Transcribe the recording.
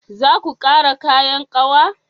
Zaku ƙara kayan ƙawa?